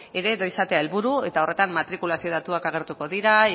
eredu izatea helburu eta horretan matrikulazio datuak agertuko dira